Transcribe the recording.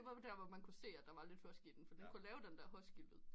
Det var der man kunne se der var lidt husky i den fordi den kunne lave den her husky lyd